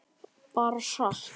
Bara sat.